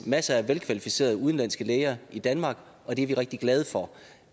masser af velkvalificerede udenlandske læger i danmark og det er vi rigtig glade for